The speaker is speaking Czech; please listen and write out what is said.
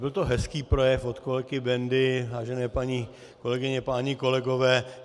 Byl to hezký projev od kolegy Bendy, vážené paní kolegyně, páni kolegové.